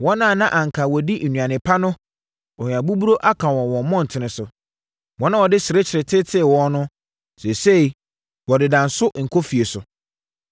Wɔn a na anka wɔdi nnuane pa no ohia buruburo aka wɔn wɔ mmɔntene so. Wɔn a wɔde serekye tetee wɔn no seesei wɔdeda nso nkɔfie so.